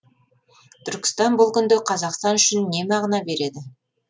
түркістан бұл күнде қазақстан үшін не мағына береді